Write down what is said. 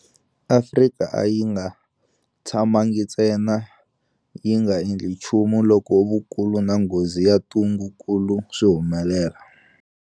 Afrika a yi nga tshamangi ntsena yi nga endli nchumu loko vukulu na nghozi ya ntungukulu swi humelela.